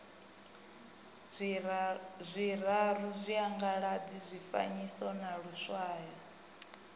zwiraru tshiangaladzi tshifanyiso na luswayo